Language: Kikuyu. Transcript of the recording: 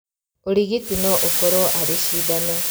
Ũrigiti no ũkorwo arĩ cindano